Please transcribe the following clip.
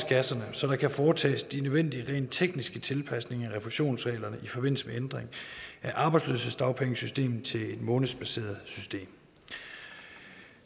så der kan foretages de nødvendige rent tekniske tilpasninger af refusionsreglerne i forbindelse med ændring af arbejdsløshedsdagpengesystemet til et månedsbaseret system